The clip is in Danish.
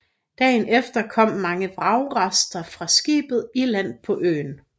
Dagen efter kom mange vragrester fra skibet i land på øen